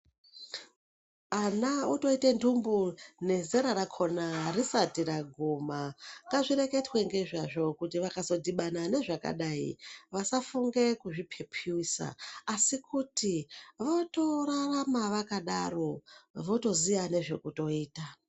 Ana otoite nthumbu nezera rakhona risati raguma, ngazvireketwe ngezvazvo kuti vakazodhibana nezvakadai vasazofunge kuzviphephiyusa asi kuti votorarama vakadaro votoziyazve zvekutoita.